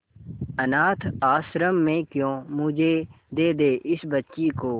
अनाथ आश्रम में क्यों मुझे दे दे इस बच्ची को